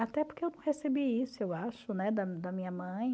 Até porque eu não recebi isso, eu acho, né, da da minha mãe.